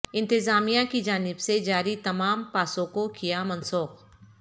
انتظامیہ کی جانب سے جاری تمام پاسوں کو کیا منسوخ